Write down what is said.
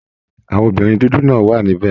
Àwọn obìnrin dúdú náà wà níbẹ̀